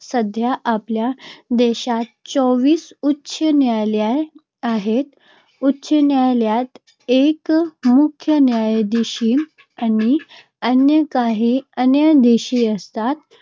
सध्या आपल्या देशात चोवीस उच्च न्यायालये आहेत. उच्च न्यायालयात एक मुख्य न्यायाधीश आणि अन्य काही न्यायाधीश असतात.